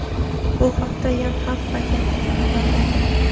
Bu haqda "Yonhap" agentligi xabar bergan.